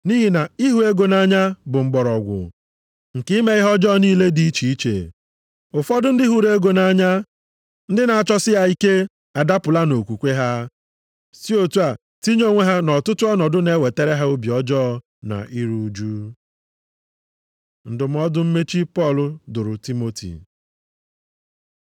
Nʼihi na ịhụ ego nʼanya bụ mgbọrọgwụ + 6:10 Ya bụ nzọ ụkwụ mbụ nke ime ihe ọjọọ niile dị iche iche. Ụfọdụ ndị hụrụ ego nʼanya, ndị na-achọsi ya ike, adapụla nʼokwukwe ha, si otu a tinye onwe ha nʼọtụtụ ọnọdụ na-ewetara ha obi ọjọọ na iru ụjụ. Ndụmọdụ mmechi Pọl dụrụ Timoti